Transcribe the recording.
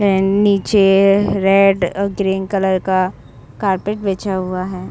अ नीचे रेड अ green colour का कारपेट बिछा हुआ है।